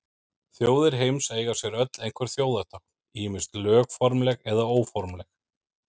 Þjóðir heims eiga sér öll einhver þjóðartákn, ýmist lögformleg eða óformleg.